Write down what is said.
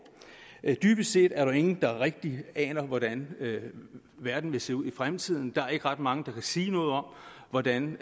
dybest set er der jo ingen der rigtigt aner hvordan verden vil se ud i fremtiden der er ikke ret mange der kan sige noget om hvordan